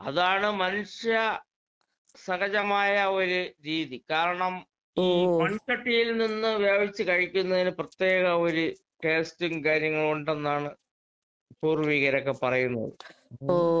അതാണ് മനുഷ്യ സഹജമായ ഒരു രീതി. കാരണം ഈ മൺ ചട്ടിയിൽ നിന്ന് വേവിച്ച് കഴിക്കുന്നതിന് പ്രത്യേക ഒര് ടേസ്റ്റും കാര്യങ്ങളും ഒണ്ടെന്നാണ് പൂർവികരൊക്കെ പറയുന്നത്.